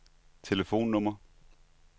telefonnummer